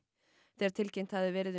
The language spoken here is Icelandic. þegar tilkynnt hafði verið um